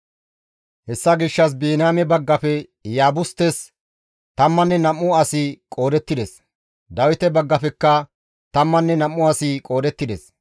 Hessa gishshas Biniyaame baggafe Iyaabustes tammanne nam7u asi qoodettides. Dawite baggafekka tammanne nam7u asi qoodettides.